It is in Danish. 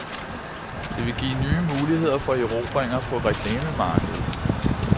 Det vil give nye muligheder for erobringer på reklamemarkedet.